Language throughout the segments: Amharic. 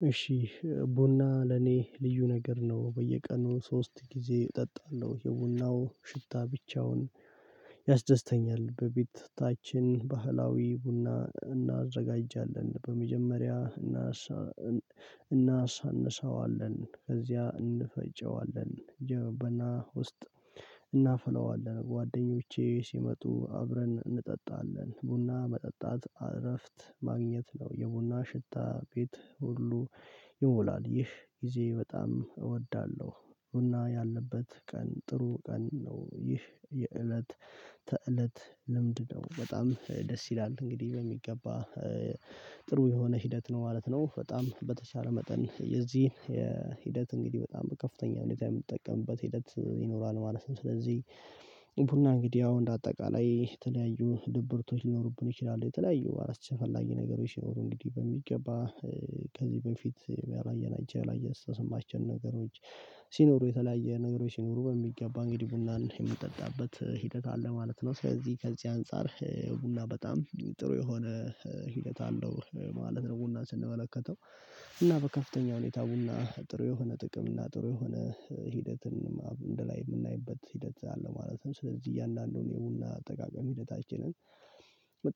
በያስደስተኛልዩነገር ነው በየቀኑ ሶስት ጊዜ እጠጣለሁ የቡናው ሽታ ብቻውን። በቤታያችን ባህላዊ ቡና እናዘጋጃለን በመጀመሪያ እናሳንሰዋለን ከዚያ እንፈጨዋለን ጀበና ውስጥ እናፍለዋለን ጓደኞቼ ሲመጡ አብረን እንጠጣለን ቡና መጠጣት እረፍት ማግኘት ነው የቡና ሽታ ቤት ሁሉ ይሞላል ይህ ጊዜ በጣም እወዳለሁ ቡና ያለበት ቀን ጥሩ ቀን ነው። ይህ የእለት ተእለት ልምድ ነው በጣም ደስ ይላል እንግዲህ በሚገባ ጥሩ የሆነ ሂደት ነው ማለት ነው። በጣም በተቻለ መጠን የዚህን የሂደት እንግዲህ በጣም ከፍተኛ ሁኔታ የምጠቀምበት ሂደት ይኖራል ማለት ነው። ስለዚህ ቡና እንግዲህ አሁን በአጠቃላይ የተለያዩ ድብርቶች ሊኖሩብን ይችላሉ የተለያዩ አራት ችግር የፈለገ ነገሮች ይኖሩ። እንግዲህ በሚገባ ከዚህ በፊት ያላየናቸው ያላየ አስተሳሰባቸው ነገሮች ሲኖሩ የተለያየ ነገሮች ሲኖሩ በሚገባ እንግዲህ ቡናን የምንጠጣበት ሂደት አለ ማለት ነው። ስለዚህ ከዚህ አንፃር ቡና በጣም ጥሩ የሆነ ሂደት አለው ማለት ነው። ቡና ስንመለከተው እና በከፍተኛ ሁኔታ ቡና ጥሩ የሆነ ጥቅም እና ጥሩ የሆነ ሂደትን አንድላይ የምናይበት ሂደት አለ ማለት ነው። ስለዚህ እያንዳንዱን የቡና አጠቃቀም ሂደታችንን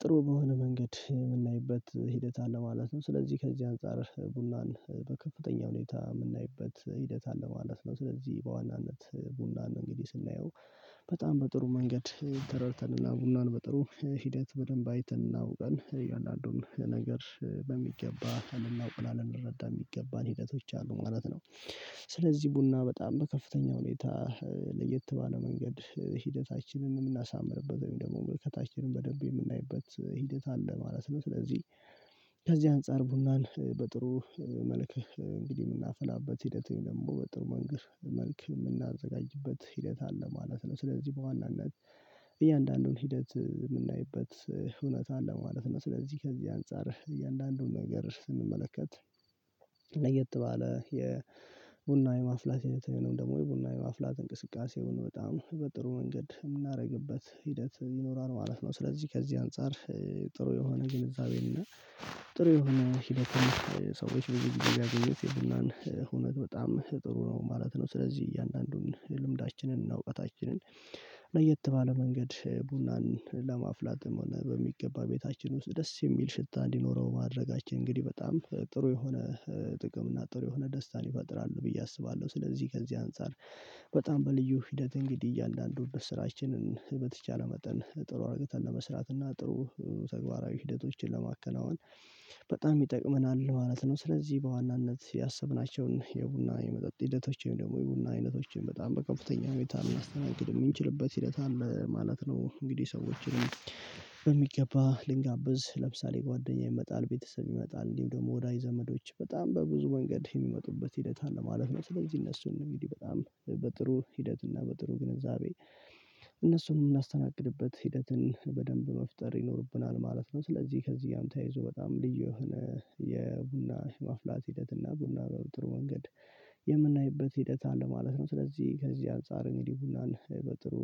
ጥሩ በሆነ መንገድ የምናይበት ሂደት አለ ማለት ነው። ስለዚህ ከዚህ አንፃር ቡናን በከፍተኛ ሁኔታ የምናይበት ሂደት አለ ማለት ነው። ስለዚህ በዋናነት ቡና ነው እንግዲህ ስናየው በጣም በጥሩ መንገድ ተረድተንና ቡናን በጥሩ ሂደት በደንብ አይተን አውቀን እያአንዳዱን ነገር በሚገባ ልናውቅና ልንረዳ የሚገባን ሂደቶች አሉ ማለት ነው። ስለዚህ ቡና በጣም በከፍተኛ ሁኔታ ለየት ባለ መንገድ ሂደታችንን የምናሳምርበት ወይም ደግሞ ምልከታችንን በደንብ የምናይበት ሂደት አለ ማለት ነው። ስለዚህ ከዚህ አንፃር ቡናን በጥሩ መልእክት እንግዲህ የምናፈላበት ሂደት ደግሞ በጥሩ መንገድ መልክ የምናዘጋጅበት ሂደት አለ ማለት ነው። ስለዚህ በዋናነት እያንዳንዱን ሂደት የምናይበት እውነት አለ ማለት ነው። ስለዚህ ከዚህ አንፃር እያንዳንዱን ነገር ስንመለከት ለየት ባለ የቡና የማፍላት የተለየው ደግሞ የቡና የማፍላት እንቅስቃሴውን በጣም በጥሩ መንገድ የምናደርግበት ሂደት ይኖራል ማለት ነው። ስለዚህ ከዚህ አንፃር ጥሩ የሆነ ግንዛቤን እና ጥሩ የሆነ ሂደትም ሰዎች በዚህ ጊዜ ያገኘሁት የቡናን ሆነት በጣም ጥሩ ነው ማለት ነው። ስለዚህ እያንዳንዱን ልምዳችንን እና እውቀታችንን ለየት ባለ መንገድ ቡናን ለማፍላትም በሚገባ ቤታችን ውስጥ ደስ የሚል ሽታ እንዲኖረው ማድረጋችን እንግዲህ በጣም ጥሩ የሆነ ጥቅም እና ጥሩ የሆነ ደስታን ይፈጥራሉ። ብዬ አስባለሁ ስለዚህ ከዚህ አንፃር በጣም በልዩ ሂደት እንግዲህ እያንዳንዱን ስራችንን በተቻለ መጠን ጥሩ እርግጠኝ ለመስራት እና ጥሩ ተግባራዊ ሂደቶችን ለማከናወን በጣም ይጠቅመናል ማለት ነው። ስለዚህ በዋናነት ያሰብናቸውን የቡና የመጠጥ ሂደቶችን ደግሞ የቡና አይነቶችን በጣም በከፍተኛ ሁኔታ የሚያስተናግድ የሚችልበት ሂደት አለ ማለት ነው። እንግዲህ ሰዎችን በሚገባ ልንጋብዝ ለምሳሌ ጓደኛ ይመጣል ቤተሰብ ይመጣል እንዲሁም ደግሞ ወዳጅ ዘመዶች በጣም በብዙ ወንገድ የሚመጡበት ሂደት አለ ማለት ነው። ስለዚህ እነሱን እንዲህ በጣም በጥሩ ሂደት እና በጥሩ ግንዛቤ እነሱን የምናስተናግድበት ሂደትን በደንብ መፍጠር ይኖርብናል ማለት ነው። ስለዚህ ከዚህ ጋር ተያይዞ በጣም ልዩ የሆነ የቡና ማፍላት ሂደት እና ቡና በጥሩ ወንገድ የምናይበት ሂደት አለ ማለት ነው። ስለዚህ ከዚህ አንፃር እንግዲህ ቡናን በጥሩ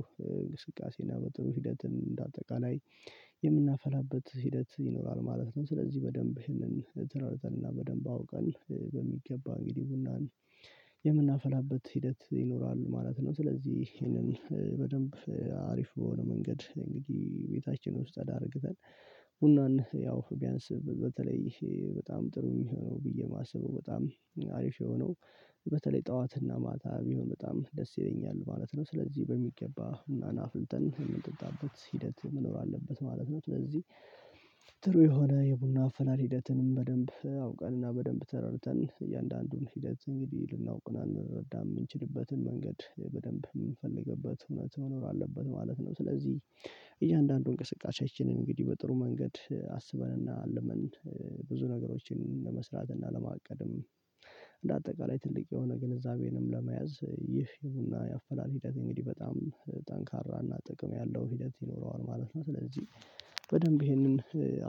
እንቅስቃሴና በጥሩ ሂደት እንደ አጠቃላይ የምናፈላበት ሂደት ይኖራል ማለት ነው። ስለዚህ በደንብ ይህንን ተረድተንና በደንብ አውቀን በሚገባ እንግዲህ ቡናን የምናፈላበት ሂደት ይኖራል ማለት ነው። ስለዚህ ይሄንን በደንብ አሪፍ የሆነ መንገድ እንግዲህ ቤታችን ውስጥ ተረጋግተን ቡናን ያው ቢያንስ በተለይ በጣም ጥሩ ነው ብዬ የማስበው በጣም አሪፍ የሆነው በተለይ ጠዋትና ማታ የሚሆን በጣም ደስ ይለኛል ማለት ነው። ስለዚህ በሚገባ እና አፍልተን የምንጠጣበት ሂደት መኖር አለበት ማለት ነው። ጥሩ የሆነ የቡና አፈላል ሂደትንም በደንብ አውቀንና በደንብ ተረድተን እያንዳንዱን ሂደት እንግዲህ ልናውቅና ልንረዳም የምንችልበትን መንገድ በደንብ የምንፈልግበት እውነት መኖር አለበት ማለት ነው። ስለዚህ እያንዳንዱን እንቅስቃሴ እንግዲህ በጥሩ መንገድ አስበንና አልመን ብዙ ነገሮችን ለመስራት እና ለማቀድም እንደ አጠቃላይ ትልቅ የሆነ ግንዛቤንም ለመያዝ ይህ የቡና ያፈላል ሂደት እንግዲህ በጣም ጠንካራና ጥቅም ያለው ሂደት ይኖረዋል ማለት ነው። ስለዚህ በደንብ ይህንን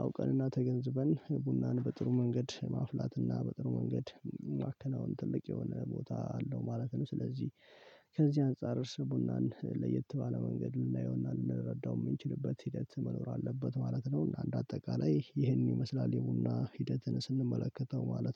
አውቀንና ተገንዝበን ቡናን በጥሩ መንገድ ማፍላትና በጥሩ መንገድ ማከናወን ትልቅ የሆነ ቦታ አለው ማለት ነው። ስለዚህ ከዚህ አንፃር እርስ ቡናን ለየት ባለ መንገድ ልናየውና ልንረዳው የምንችልበት ሂደት መኖር አለበት ማለት ነው። አንድ አጠቃላይ ይህን ይመስላል የቡና ሂደትን ስንመለከተው ማለት